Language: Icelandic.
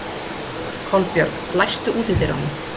Kolbjörg, læstu útidyrunum.